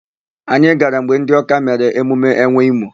Anyị gara mgbe ndị Ọ́ká mere emume enwe imo.